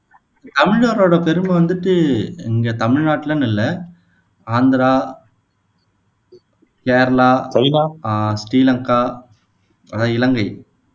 தமிழரோட பெருமை வந்துட்டு இங்க தமிழ்நாட்டுலன்னு இல்ல ஆந்திரா, கேரளா, ஆஹ் ஸ்ரீலங்கா, அதான் இலங்கை